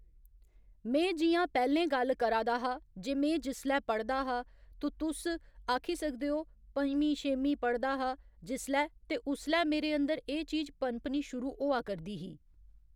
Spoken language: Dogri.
में जि'यां पैह्‌लें गल्ल करा दा हा जे में जिसलै पढ़दा हा तु तुस आक्खी सकदे ओ पंञमी छेमीं पढ़दा हा जिसलै ते उसलै मेरे अंदर एह् चीज पनपनी शुरू होआ करदी ही